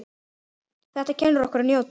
Þetta kennir okkur að njóta.